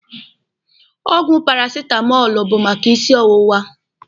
Ọgwụ parasitamọlụ bụ maka isi ọwụwa.